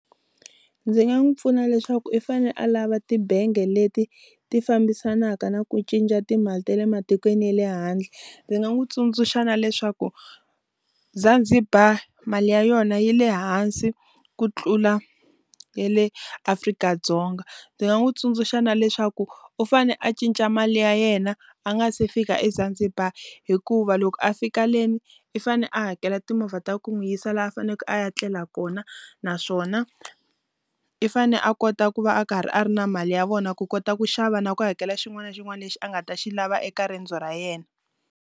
Ndzi nga n'wi pfuna leswaku i fane a lava tibange leti ti fambisanaka na ku cinca timali ta le matikweni ya le handle ndzi nga n'wi tsundzuxa na leswaku Zanzibar mali ya yona yi le hansi ku tlula ya le Afrika-Dzonga ndzi nga n'wi tsundzuxa na leswaku u fane a cinca mali ya yena a nga se fika eZanzibar hikuva loko a fika leni u fane a hakela timovha ta ku u n'wi yisa laha a faneke a ya tlela kona naswona i fane a kota ku va a karhi a ri na mali ya vona ku kota ku xava na ku hakela xin'wana na xin'wana lexi a nga ta xi lava eka riendzo ra yena.